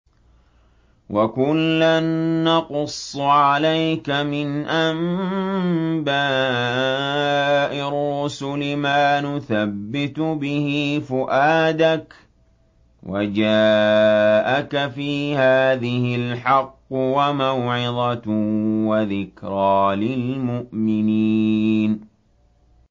وَكُلًّا نَّقُصُّ عَلَيْكَ مِنْ أَنبَاءِ الرُّسُلِ مَا نُثَبِّتُ بِهِ فُؤَادَكَ ۚ وَجَاءَكَ فِي هَٰذِهِ الْحَقُّ وَمَوْعِظَةٌ وَذِكْرَىٰ لِلْمُؤْمِنِينَ